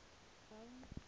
crown